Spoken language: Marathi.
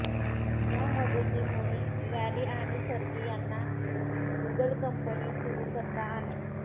या मदतीमुळे लॅरी आणि सर्गी यांना गुगल कंपनी सुरू करता आली